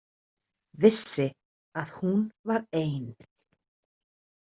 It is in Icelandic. Vissi að hún var ein.